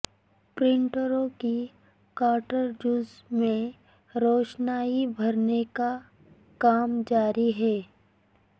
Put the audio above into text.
پرنٹروں کی کارٹرجز میں روشنائی بھرنے کا کام جاری ہے